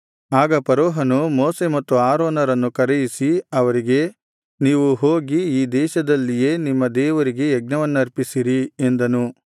ಆಗ ಫರೋಹನು ಮೋಶೆ ಮತ್ತು ಆರೋನರನ್ನು ಕರೆಯಿಸಿ ಅವರಿಗೆ ನೀವು ಹೋಗಿ ಈ ದೇಶದಲ್ಲಿಯೇ ನಿಮ್ಮ ದೇವರಿಗೆ ಯಜ್ಞವನ್ನರ್ಪಿಸಿರಿ ಎಂದನು